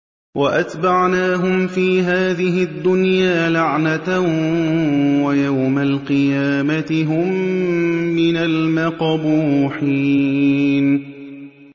وَأَتْبَعْنَاهُمْ فِي هَٰذِهِ الدُّنْيَا لَعْنَةً ۖ وَيَوْمَ الْقِيَامَةِ هُم مِّنَ الْمَقْبُوحِينَ